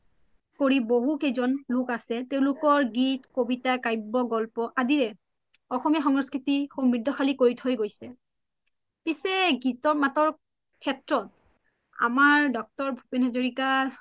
কৰি বহু কেইযন লোক আছে তেওলোকৰ গীত, কবিতা, কাব্য, গল্প আদিৰে অসমীয়া সংস্কৃতি সাম্ৰিধী কৰি থই গৈছে পিচে গীতৰ মাতৰ সেত্ৰত আমাৰ ড° ভূপেন হাজৰীকা